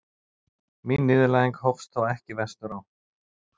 Mín niðurlæging hófst þó ekki vestur á